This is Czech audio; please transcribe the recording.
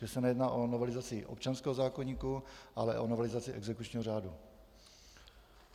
Že se nejedná o novelizaci občanského zákoníku, ale o novelizaci exekučního řádu.